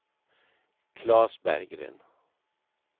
Claes Berggren